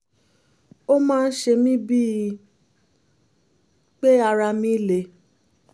ó máa ń ṣe mí bíi pé ara mí le